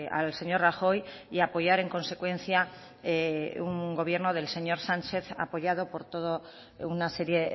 al señor rajoy y apoyar en consecuencia un gobierno del señor sánchez apoyado por todo una serie